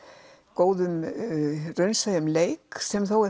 góðum raunsæjum leik sem er þó